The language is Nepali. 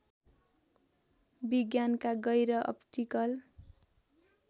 विज्ञानका गैर अप्टिकल